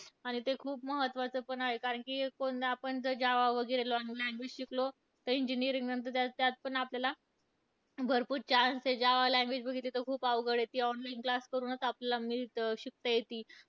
आणि ते खूप महत्वाचं पण आहे. कारण की कोणी आपण जर Java वगैरे language शिकलो, तर engineering नंतर त्यात पण आपल्याला, भरपूर chance आहे. Java language बघितली तर खूप अवघड आहे. ती online class करूनच आपल्याला मिळतं, शिकता येती.